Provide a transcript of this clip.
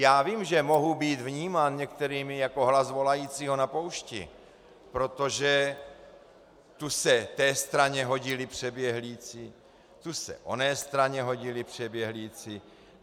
Já vím, že mohu být vnímán některými jako hlas volajícího na poušti, protože tu se té straně hodili přeběhlíci, tu se oné straně hodili přeběhlíci.